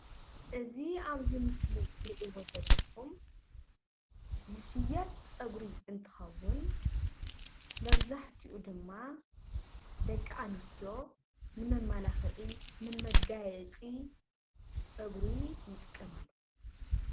እዚ ኣብዚ ምስሊ ትርኢዎ ዘለኹም ዝሽየጥ ጸጉሪ እንትኸውን መብዛሕትኡ ድማ ደቂ ኣንስትዮ ን መማላኽዒ ንመጋየጺ ጸጉሪ ይጥቀማሉ።